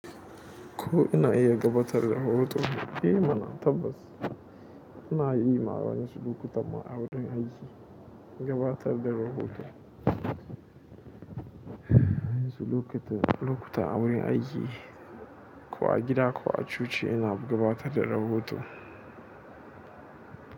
Ko ina iya gabatar da hoto? Eh mana tabbas ina yi ma wani sulukunta ma a wurin aiki gabatar da rahoto. Wani sulukunta a wurin aiki ko a gida ko a coci ina gabatar da rahoto.